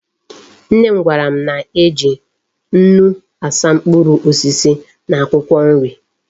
Nnem gwaram na eji nnu asa mkpuru osisi na akwukwo nri